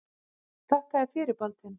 Þakka þér fyrir Baldvin.